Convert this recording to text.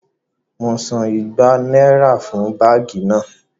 Mo san igba náírà fún báàgì náà